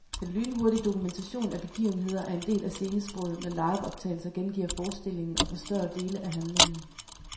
Den lynhurtige dokumentation af begivenheder er en del af scenesproget, når liveoptagelser gengiver forestillingen og forstørrer dele af handlingen.